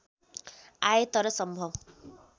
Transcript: आए तर सम्भव